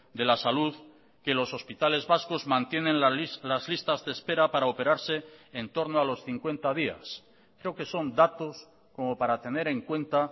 de la salud que los hospitales vascos mantienen las listas de espera para operarse en torno a los cincuenta días creo que son datos como para tener en cuenta